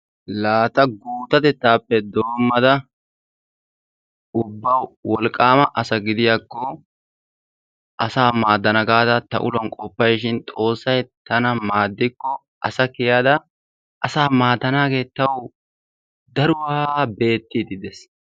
La ta guttatettaape doommada ubba wolqqaama asa gidiyaakko asaa maaddana gaada ta uluwaan qofayishin xoossay tana maaddiko asa kiiyyada asaa maaddanagee tawu daruwaa beettiidi dees.